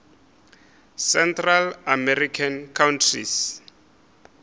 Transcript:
central american countries